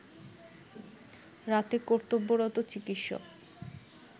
রাতে কর্তব্যরত চিকিৎসক